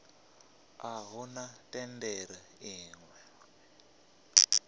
a huna thendelo i ṱo